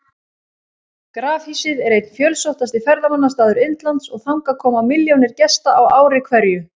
Grafhýsið er einn fjölsóttasti ferðamannastaður Indlands og þangað koma milljónir gesta á ári hverju.